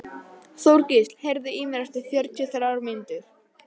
Þorgísl, heyrðu í mér eftir fjörutíu og þrjár mínútur.